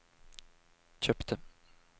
kjøpte